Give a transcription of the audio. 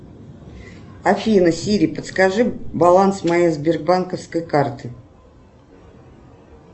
афина сири подскажи баланс моей сбербанковской карты